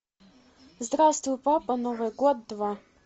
здравствуй папа новый год два